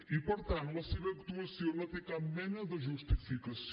i per tant la seva actuació no té cap mena de justificació